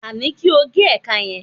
a ni kí o ge ẹka yẹn